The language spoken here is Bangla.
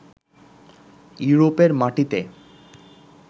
ইউরোপের মাটিতে